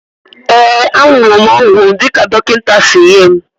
Ee, aṅụrụ m ọgwụ m dị ka dọkịta si nye m